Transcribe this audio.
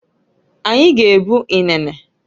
Anyi g'ebu inene.